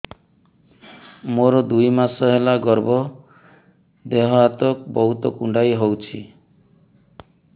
ମୋର ଦୁଇ ମାସ ହେଲା ଗର୍ଭ ଦେହ ହାତ ବହୁତ କୁଣ୍ଡାଇ ହଉଚି